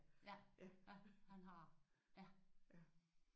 Ja han har ja